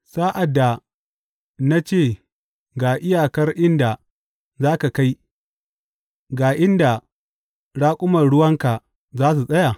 Sa’ad da na ce ga iyakar inda za ka kai, ga inda raƙuman ruwanka za su tsaya?